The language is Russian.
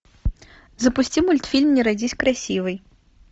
запусти мультфильм не родись красивой